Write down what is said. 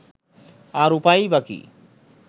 আর উপায়ই বা কী